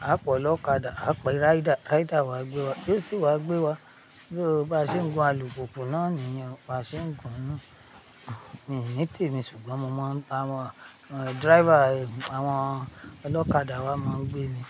á pọ̀ lọ́kàdà, á pẹ́ ráídà, ráídà wá gbé wa, tio sì wá gbé wa. So bá ṣe ń gun alùpùpù náà nìyẹn, ba ṣe ń gun ún mítèmi ṣùgbọ́n mo máa ń ba àwọn driver, àwọn ọlọ́kàdà wá máa ń gbé mi.